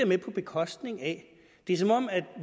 med på bekostning af det er som om